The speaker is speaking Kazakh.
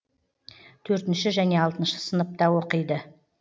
төртінш және алтыншы сыныпта оқиды